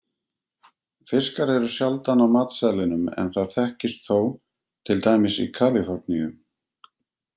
Fiskar eru sjaldan á matseðlinum en það þekkist þó, til dæmis í Kaliforníu.